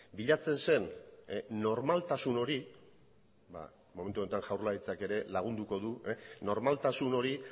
bilatzen zen normaltasun hori momentu honetan jaurlaritzak ere lagunduko du normaltasun hori